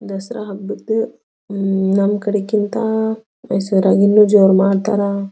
ದಸರಾ ಹಬ್ಬದ್ ನಮ್ ಕಡೆ ಗಿಂತ ಬೇಸರಆಗಿ ಇನ್ನ ಜೋರ್ ಮಾಡ್ತಾರಾ.